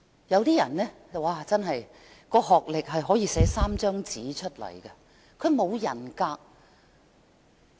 有人的學歷可以寫滿3張紙，但他卻沒有人格。